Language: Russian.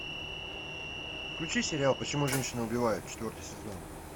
включи сериал почему женщины убивают четвертый сезон